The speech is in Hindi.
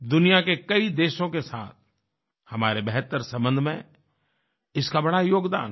दुनिया के कई देशों के साथ हमारे बेहतर संबंध में इसका बड़ा योगदान है